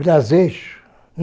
Braseixo.